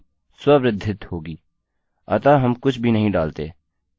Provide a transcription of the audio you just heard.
id की value स्ववृद्धित autoincremented होगी अतः हम कुछ भी नहीं डालते